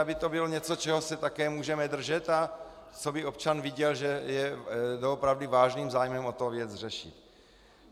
Aby to bylo něco, čeho se také můžeme držet a co by občan viděl, že je doopravdy vážným zájmem o to věc řešit.